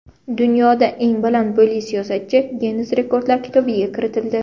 Dunyoda eng baland bo‘yli siyosatchi Ginnes rekordlar kitobiga kiritildi.